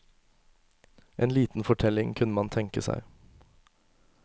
En liten fortelling kunne man tenke seg.